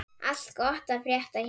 Allt gott að frétta hér.